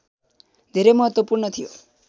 धेरै महत्त्वपूर्ण थियो